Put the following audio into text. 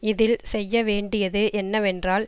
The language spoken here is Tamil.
இதில் செய்ய வேண்டியது என்னவென்றால்